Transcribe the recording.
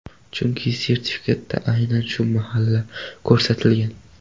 Chunki sertifikatda aynan shu mahalla ko‘rsatilgan.